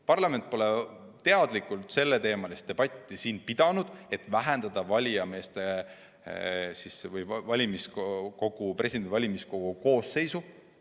Parlament pole teadlikult selleteemalist debatti siin pidanud, et vähendada valimiskogu koosseisu.